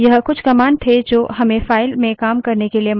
यह कुछ commands थे जो हमें files में काम करने के लिए मदद करती हैं